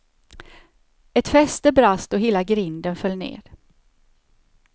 Ett fäste brast och hela grinden föll ned.